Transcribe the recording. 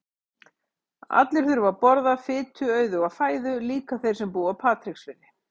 Allir þurfa að borða fituauðuga fæðu, líka þeir sem búa á Patreksfirði.